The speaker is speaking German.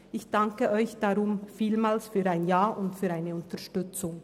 Ich danke Ihnen deshalb vielmals für ein Ja und für Ihre Unterstützung.